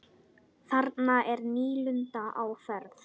Þarna er nýlunda á ferð.